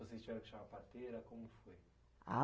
Vocês tiveram que chamar a parteira, como foi? A